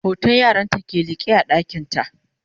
hoton yaranta ke liƙe a ɗakinta